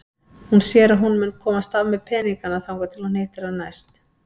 Hún sér að hún mun komast af með peningana þangað til hún hittir hann næst.